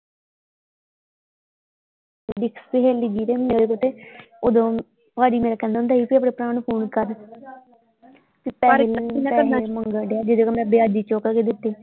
ਦੀ ਸਹੇਲੀ ਜੀ ਦੇ ਉਦੋਂ ਭਾਜੀ ਮੇਰਾ ਕਹਿੰਦਾ ਹੁੰਦਾ ਸੀ ਕੀ ਆਪਣੇ ਭਰਾ ਨੂੰ ਫ਼ੋਨ ਕਰ ਪੈਸੇ ਪੈਸੇ ਮੰਗਣ ਡਯਾ ਜਿਹੜੇ ਕੋਲੋਂ ਮੈਂ ਵਿਆਜੀ ਚੁੱਕ ਕੇ ਦਿੱਤੇ